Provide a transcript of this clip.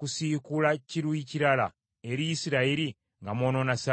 kusiikula kiruyi kirala eri Isirayiri nga mwonoona Ssabbiiti?”